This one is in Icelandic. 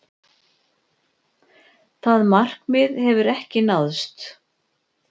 Það markmið hefur ekki náðst.